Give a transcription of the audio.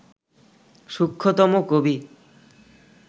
সূক্ষ্মতম কবি